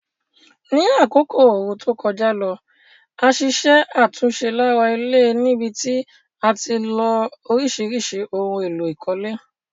Ní àkókò ooru to kojá lo, a ṣiṣẹ́ àtúnse lára ilé níbití a tilo orísìrísì oun élò ìkólé